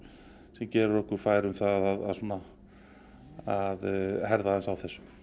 sem gerir okkur fær um það að herða aðeins á þessu